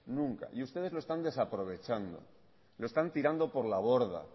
nunca y ustedes lo están desaprovechando lo están tirando por la borda